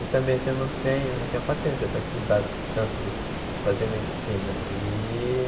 E também, assim, eu não tenho eu não tinha paciência para estudar tanto, para fazer medicina e.